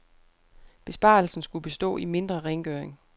Besparelsen skulle bestå i mindre rengøring.